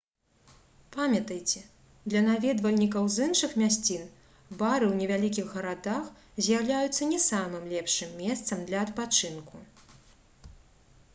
памятайце для наведвальнікаў з іншых мясцін бары ў невялікіх гарадах з'яўляюцца не самым лепшым месцам для адпачынку